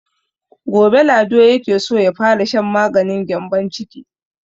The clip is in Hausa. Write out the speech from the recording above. Gobe Lado yake so ya fara shan maganin gyambon ciki.